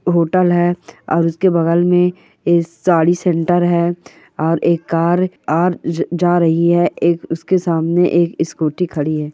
Hotel है और उसके बगल में ऐ साड़ी सेंटर है और एक कार जा रही है एक उसके सामने एक स्कूली खड़ी है।